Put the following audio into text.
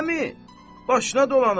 Axı, əmi, başına dolanım.